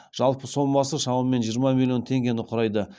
жалпы сомасы шамамен жиырма миллион теңгені құрайды